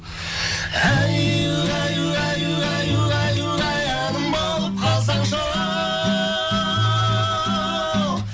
әй угай угай угай угай угай әнім болып қалсаңшы оу